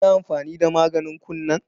Kin yi amfani da maganin kunnen?